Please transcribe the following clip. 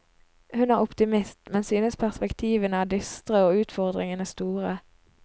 Hun er optimist, men synes perspektivene er dystre og utfordringene store.